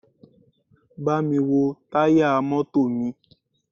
Bámi wo táyà mọ́tò mi!